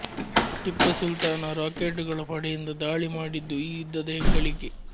ಟಿಪ್ಪು ಸುಲ್ತಾನ ರಾಕೆಟ್ಟುಗಳ ಪಡೆಯಿಂದ ಧಾಳಿ ಮಾಡಿದ್ದು ಈ ಯುದ್ಧದ ಹೆಗ್ಗಳಿಕೆ